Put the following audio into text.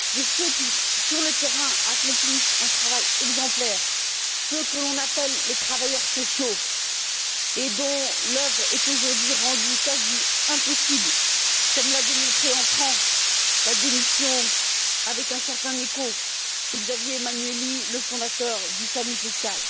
ceux qui, sur le terrain, accomplissent un travail exemplaire, ceux que l'on appelle les travailleurs sociaux et dont l'œuvre est aujourd'hui rendue quasi impossible, comme l'a démontré en France la démission avec un certain écho de Xavier Emmanuelli, le fondateur du Samu social.